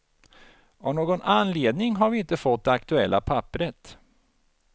Av någon anledning har vi inte fått det aktuella papperet.